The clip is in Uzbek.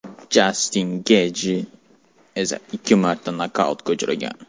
Jastin Getji esa ikki marta nokautga uchragan.